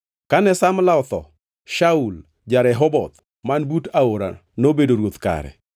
Kane Samla otho, Shaul ja-Rehoboth man but aora nobedo ruoth kare.